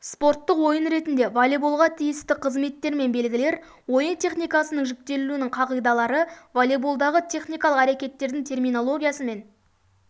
спорттық ойын ретінде волейболға тиісті қызметтермен белгілер ойын техникасының жіктелуінің қағидалары волейболдағы техникалық әрекеттердің терминологиясы мен